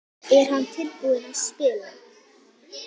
Er hann tilbúinn að spila?